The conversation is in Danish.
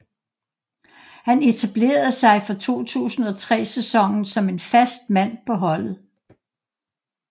Han etablerede sig fra 2003 sæsonen som en fast mand på holdet